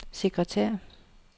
sekretær